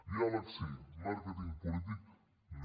diàleg sí màrqueting polític no